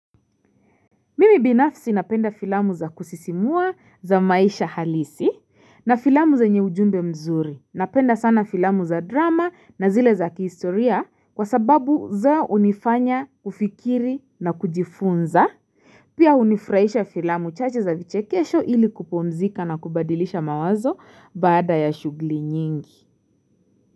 Mimi binafsi napenda filamu za kusisimua za maisha halisi na filamu za nye ujumbe mzuri napenda sana filamu za drama na zile za kihistoria kwa sababu za unifanya kufikiri na kujifunza Pia unifraisha filamu chache za vichekesho ili kupumzika na kubadilisha mawazo baada ya shughuli nyingi.